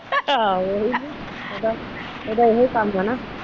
ਆਹੋ ਇਹੀ ਆ ਇਹਦਾ ਇਹੀ ਕੰਮ ਆ।